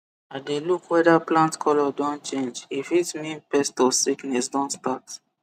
i dey look whether plant colour don change e fit mean pest or sickness don start